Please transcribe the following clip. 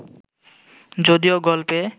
যদিও গল্পে